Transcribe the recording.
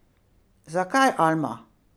Zakaj Alma?